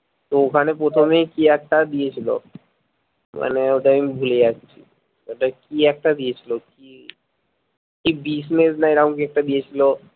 তো ওখানে প্ৰথমে কি একটা দিয়েছিলো মানে ওটা আমি ভুলে যাচ্ছি ওটা কি একটা দিয়েছিলো কি কি business না এরাম কি একটা দিয়েছিলো